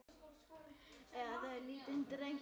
Eiga þau lítinn dreng.